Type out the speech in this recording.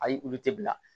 Ayi olu te bila